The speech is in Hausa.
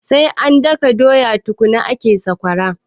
Sai an daka doya tukunna ake samun sakwara